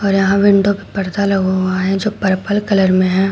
और यहां विंडो पे पर्दा लगा हुआ है जो पर्पल कलर में है।